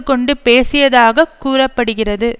கொண்டு பேசியதாக கூற படுகிறது